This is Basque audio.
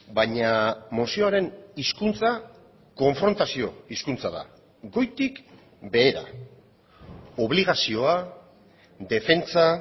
baina mozioaren hizkuntza konfrontazio hizkuntza da goitik behera obligazioa defentsa